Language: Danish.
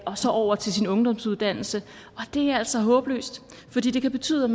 og over til sin ungdomsuddannelse det er altså håbløst for det kan betyde